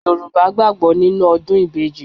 Yorùbá gbàgbó nínú ọdún ìbejì